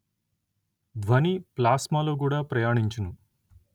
ధ్వని ప్లాస్మా లో కూడా ప్రయాణించును